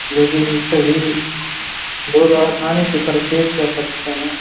जो कि सभी लोग आसानी से पर्चेस कर सकते हैं ।